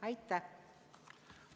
Aitäh!